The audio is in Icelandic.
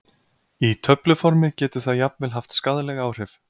Í töfluformi getur það jafnvel haft skaðleg áhrif.